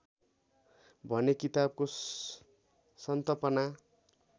भने किताबको सन्तपना